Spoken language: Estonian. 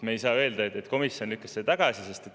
Me ei saa öelda, et komisjon lükkas selle tagasi.